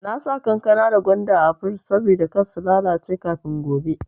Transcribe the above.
Na saka kankana da gwanda a frij saboda kar su lalace kafin gobe.